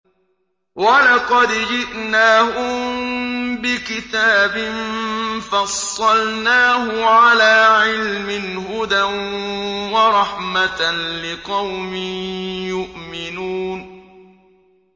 وَلَقَدْ جِئْنَاهُم بِكِتَابٍ فَصَّلْنَاهُ عَلَىٰ عِلْمٍ هُدًى وَرَحْمَةً لِّقَوْمٍ يُؤْمِنُونَ